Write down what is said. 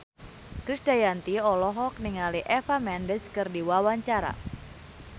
Krisdayanti olohok ningali Eva Mendes keur diwawancara